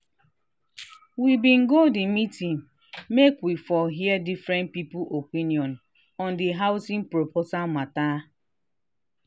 we been go the meeting make we for hear different people opinion on the housing proposal matter